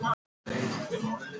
Jóhann, læstu útidyrunum.